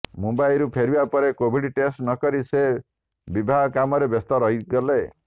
ମୁମ୍ୱାଇରୁ ଫେରିବା ପରେ Covid test ନକରି ସେ ବିବାହ କାମରେ ବ୍ୟସ୍ତ ରହିଗଲେ